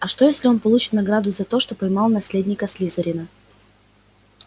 а что если он получил награду за то что поймал наследника слизерина